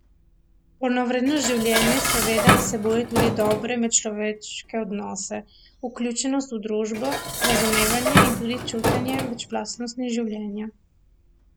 Polnovredno življenje seveda vsebuje tudi dobre medčloveške odnose, vključenost v družbo, razumevanje in tudi čutenje večplastnosti življenja.